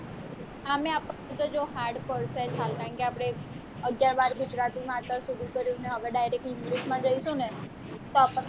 આમેય આપણ ને તો જો hard પડશે જ હાલ કારણ કે આપને અગિયાર બાર ગુજરાતી માં અત્યાર સુધી કર્યું ને હવે direct હવે english માં જઈશું ને તો આપણને